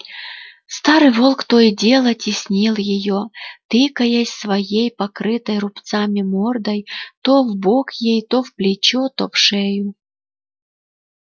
старый волк то и дело теснил её тыкаясь своей покрытой рубцами мордой то в бок ей то в плечо то в шею